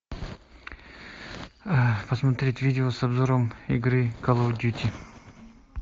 посмотреть видео с обзором игры кал оф дьюти